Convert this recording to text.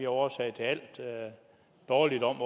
årsag til al dårligdom